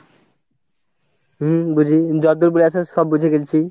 হম বুঝি, যতদূর বুঝাইছো সব বুঝে গেছি।